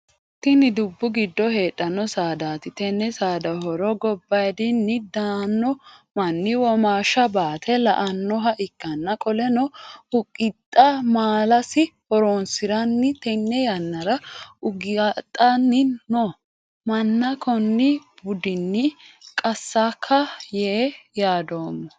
Tinni dubu gido heedhano saadaati tenne saada horo gobayidinni daano manni womaasha baate la'noha ikanna qoleno ugaaxe maalasi horoosiran tenne yannara ugaaxanni noo manna konni buudinni qasaka yee yaadoomo.